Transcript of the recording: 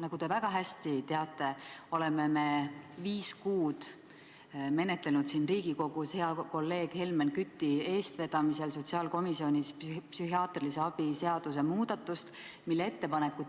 Nagu te väga hästi teate, oleme viis kuud siin Riigikogus menetlenud hea kolleegi Helmen Küti eestvedamisel sotsiaalkomisjonis kavandatud psühhiaatrilise abi seaduse muudatust, mille kohta